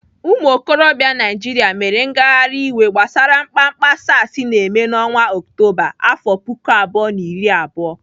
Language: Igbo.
Ụmụokorobịa Naijiria mere ngagharị iwe gbasara mkpamkpa SARs na-eme n'ọnwa Ọktoba, afọ puku abụọ na iri abụọ.